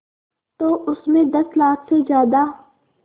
तो उस में दस लाख से ज़्यादा